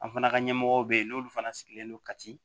An fana ka ɲɛmɔgɔw bɛ ye n'olu fana sigilen don ka ci